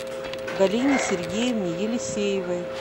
галине сергеевне елисеевой